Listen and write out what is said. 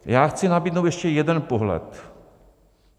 Já chci nabídnout ještě jeden pohled.